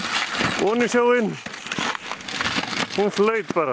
oní sjóinn hún flaut bara